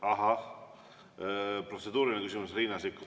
Ahah, protseduuriline küsimus, Riina Sikkut.